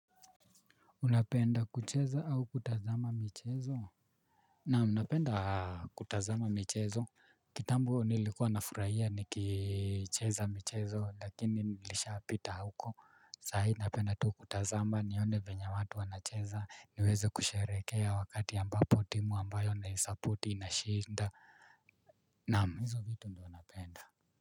Unapenda kucheza au kutazama michezo. Naam napenda kutazama michezo. Kitambo nilikuwa nafurahia nikicheza michezo lakini nilisha pita huko sahi napenda tu kutazama nione venye watu wanacheza niweze kusherehekea wakati ambapo timu ambayo naisupport inashinda. Naam hizo vitu ndio napenda.